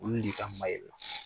O lei ka ma ye